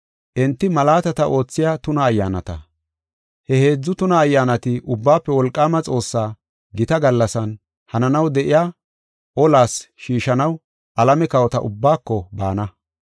Enti malaatata oothiya tuna ayyaanata. He heedzu tuna ayyaanati Ubbaafe Wolqaama Xoossaa gita gallasan hananaw de7iya olas shiishanaw alame kawota ubbaako baana.